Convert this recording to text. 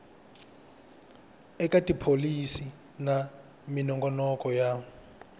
eka tipholisi na minongonoko ya